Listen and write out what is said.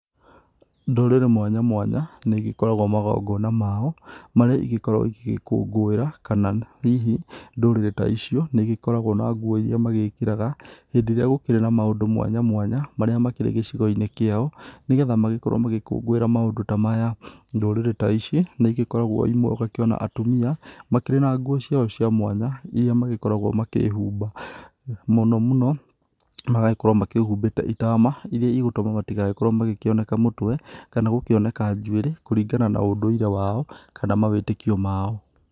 Ndũrĩrĩ mwanya mwanya nĩ igĩkoragwo magongona mao marĩa ingĩkorwo igĩkũngũĩra, kana hihi ndũrĩrĩ ta icio nĩ igĩkoragwo na nguo ĩria magĩkĩraga hĩndĩ ĩria gũkĩrĩ na maũndũ mwanya mwanya maria makĩrĩ gĩcĩgo-inĩ kĩao, nĩgetha magĩkorwo magĩkũngũĩra maũndũ ta maya. Ndũrĩrĩ ta ici nĩ igĩkoragwo imwe ũgakĩona atumia makĩrĩ na nguo ciao cia mwanya, iria magĩkoragwo makĩhumba, mũno mũno magagĩkorwo makĩhubĩte itama, iria igũgĩtuma matĩgagĩkorwo makĩoneka mũtwe, kana gũkĩoneka njuĩrĩ kũringana na ũndũire kana mawĩtĩkio ma o.